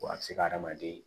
Wa a bɛ se ka hadamaden